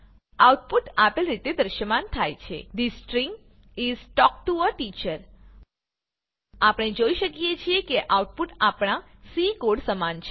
output આપેલ રીતે દ્રશ્યમાન થાય છે the string is talk to a teacher આપણે જોઈ શકીએ છીએ કે આઉટપુટ આપણા સી કોડ સમાન છે